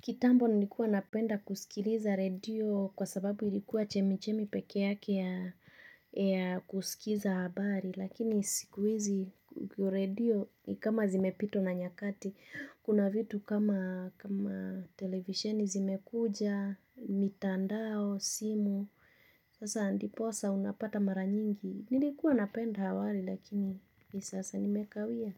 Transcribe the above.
Kitambo nilikuwa napenda kusikiliza redio kwa sababu ilikuwa chemichemi pekee yake ya kusikiza habari. Lakini sikuhizi redio ni kama zimepitwa na nyakati kuna vitu kama televisheni zimekuja mitandao simu sasa ndiposa unapata mara nyingi. Nilikuwa napenda awali lakini sasa nimekawia